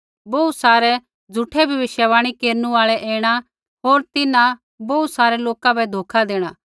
बोहू सारै झ़ूठै भविष्यवाणी केरनु आल़ै ऐणै होर तिन्हां बोहू सारै लोका बै धोखा देणा